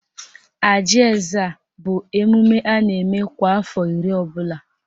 Ajị Ezza bụ emume a na-eme kwa afọ iri ọbụla